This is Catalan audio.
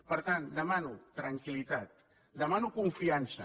per tant demano tranquil·litat demano confiança